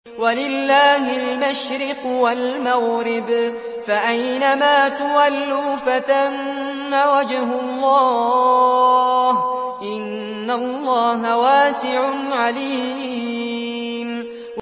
وَلِلَّهِ الْمَشْرِقُ وَالْمَغْرِبُ ۚ فَأَيْنَمَا تُوَلُّوا فَثَمَّ وَجْهُ اللَّهِ ۚ إِنَّ اللَّهَ وَاسِعٌ عَلِيمٌ